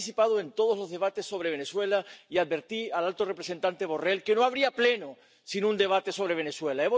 He participado en todos los debates sobre Venezuela y advertí al alto representante Borrell de que no habría Pleno sin un debate sobre Venezuela.